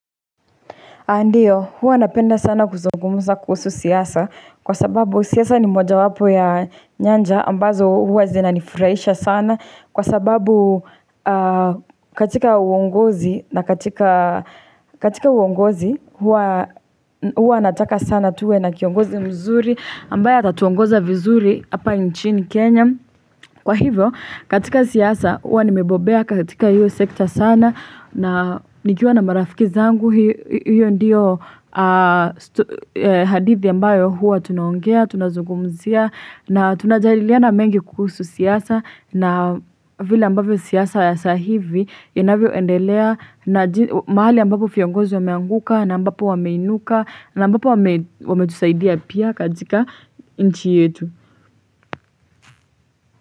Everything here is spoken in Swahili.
Ndiyo, huwa napenda sana kuzungumza kuhusu siasa kwa sababu siasa ni mojawapo ya nyanja ambazo huwa zinanifuraisha sana kwa sababu katika uongozi huwa nataka sana tuwe na kiongozi mzuri ambaye atatuongoza vizuri hapa nchini Kenya. Kwa hivyo, katika siasa, huwa nimebobea katika hiyo sekta sana na nikiwa na marafiki zangu, hiyo ndiyo hadithi ambayo huwa tunaongea, tunazungumzia, na tunajadiliana mengi kuhusu siasa na vile ambavyo siasa ya saa hivi, inavyoendelea mahali ambapo fiongozi wameanguka, na ambapo wameinuka, na ambapo wametusaidia pia katika inchi yetu.